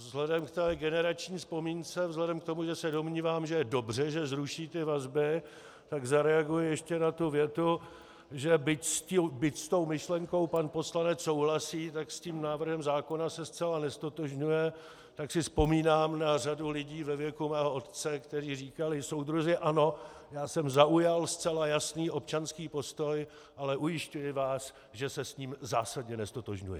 Vzhledem k té generační vzpomínce, vzhledem k tomu, že se domnívám, že je dobře, že zruší ty vazby, tak zareaguji ještě na tu větu, že byť s tou myšlenkou pan poslanec souhlasí, tak s tím návrhem zákona se zcela neztotožňuje, tak si vzpomínám na řadu lidí ve věku mého otce, kteří říkali: Soudruzi, ano, já jsem zaujal zcela jasný občanský postoj, ale ujišťuji vás, že se s ním zásadně neztotožňuji.